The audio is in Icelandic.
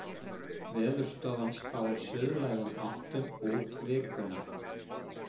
Veðurstofan spáir suðlægum áttum út vikuna